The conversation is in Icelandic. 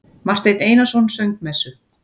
Marteinn Einarsson söng messu.